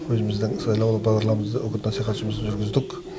өзіміздің сайлауалды бағдарламамызды үгіт насихат жұмысын жүргіздік